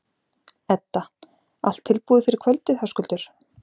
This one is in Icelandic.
Edda: Allt tilbúið fyrir kvöldið, Höskuldur?